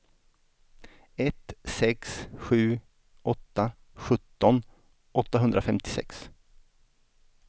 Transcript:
ett sex sju åtta sjutton åttahundrafemtiosex